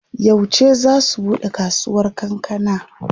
Yauce zaa su buɗe kasuwar kankana?